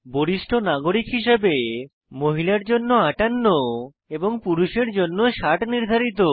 বরিষ্ঠ নাগরিক হিসেবে মহিলার জন্য 58 এবং পুরুষের জন্য 60 নির্ধারিত